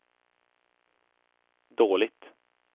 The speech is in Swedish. dåligt